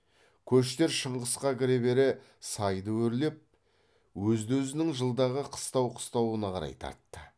көштер шыңғысқа кіре бере сайды өрлеп өзді өзінің жылдағы қыстау қыстауына қарай тартты